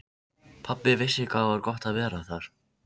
Hann sagðist vera maður efnda þegar loforð væru annars vegar.